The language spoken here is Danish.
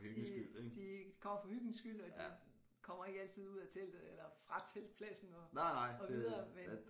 De de kommer for hyggens skyld og de kommer ikke altid ud af teltet eller fra teltpladsen og og videre men